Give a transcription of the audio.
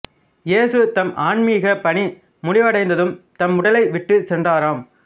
இயேசு தம் ஆன்மிகப் பணி முடிவடைந்ததும் தம் உடலை விட்டுச் சென்றாராம்